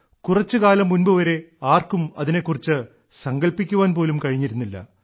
കുറച്ചുകാലം മുൻപു വരെ ആർക്കും അതിനെക്കുറിച്ച് സങ്കൽപ്പിക്കാൻ പോലും കഴിഞ്ഞിരുന്നില്ല